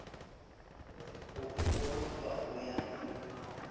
o e kolotwang ho ya